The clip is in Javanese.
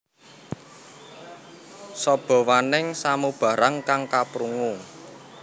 Sabawaning samubarang kang kaprungu